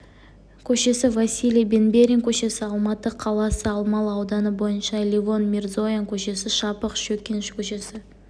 көшесі василий бенберин көшесі алматы қаласы алмалы ауданы бойынша левон мирзоян көшесі шапық шөкин көшесі